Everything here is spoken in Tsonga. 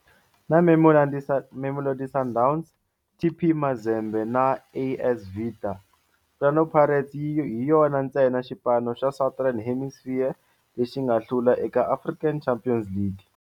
Na Mamelodi Sundowns, TP Mazembe na AS Vita, Orlando Pirates hi yona ntsena xipano xa Southern Hemisphere lexi nga hlula eka African Champions League.